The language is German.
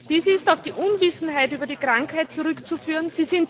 Dies ist auf die Unwissenheit über die Krankheit zurückzuführen.